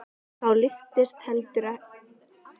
Og þá lyftist heldur en ekki á þeim brúnin.